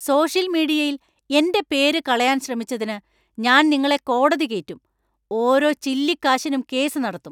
Social മീഡിയയില്‍ എന്‍റെ പേര് കളയാന്‍ ശ്രമിച്ചതിന് ഞാൻ നിങ്ങളെ കോടതി കേറ്റും. ഓരോ ചില്ലിക്കാശിനും കേസ് നടത്തും.